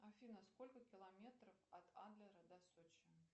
афина сколько километров от адлера до сочи